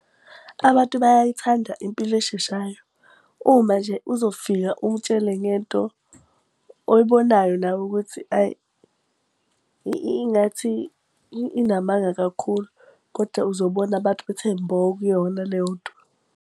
Abantu bayayithanda impilo esheshayo. Uma nje uzofika umutshele ngento oyibonayo nawe ukuthi ayi ingathi inamanga kakhulu, koda uzobona abantu bethe mbo kuyona leyo nto.